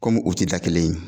Komi u tɛ da kelen ye